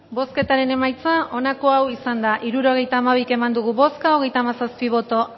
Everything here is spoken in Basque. bozketaren emaitza onako izan da hirurogeita hamabi eman dugu bozka hogeita hamazazpi boto